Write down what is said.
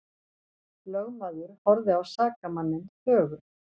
Lögmaður horfði á sakamanninn þögull.